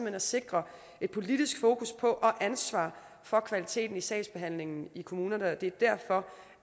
at sikre et politisk fokus på og ansvar for kvaliteten i sagsbehandlingen i kommunerne det er derfor